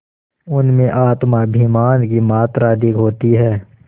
उनमें आत्माभिमान की मात्रा अधिक होती है